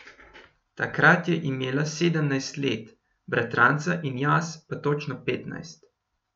Takrat je imela sedemnajst let, bratranca in jaz pa točno petnajst.